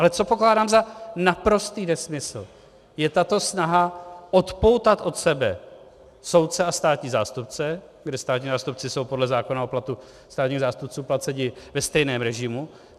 Ale co pokládám za naprostý nesmysl je tato snaha odpoutat od sebe soudce a státní zástupce, kde státní zástupci jsou podle zákona o platu státního zástupce placeni ve stejném režimu.